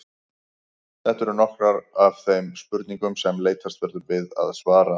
Þetta eru nokkrar af þeim spurningum sem leitast verður við að svara.